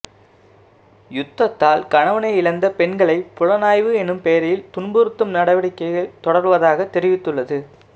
யுத்தத்தால் கணவனை இழந்த பெண்களை புலனாய்வு எனும் பெயரில் துன்புறுத்தும் நடவடிக்கைகள் தொடர்வதாக தெரிவித்துள்ள